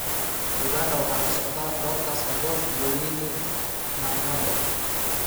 Uganda waxaa ka socda Dorcus Ajok iyo Winnie Nanyondo.